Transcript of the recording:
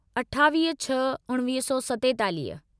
अठावीह छह उणिवीह सौ सतेतालीह